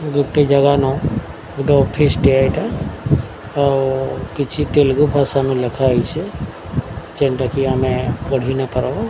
ଗୋଟେ ଜାଗା ନ ଗୋଟେ ଅଫିସ୍ ଟିଏ ଏଇଟା ଆଉ କିଛି ତେଲଗୁ ଭାଷା ନ ଲେଖା ହେଇଛି ଯେନ୍ ଟାକି ଆମେ ପଢ଼ି ନ ପାରବୁ।